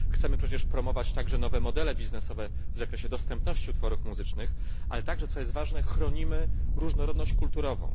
Chcemy przecież promować także nowe modele biznesowe w zakresie dostępności utworów muzycznych, ale także co jest ważne chronimy różnorodność kulturową.